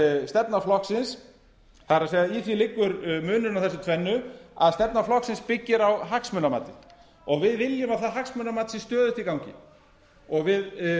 stefna flokksins það er í því liggur munurinn á þessu tvennu að stefna flokksins byggir á hagsmunamati og við viljum að það hagsmunamat sé stöðugt í gangi og við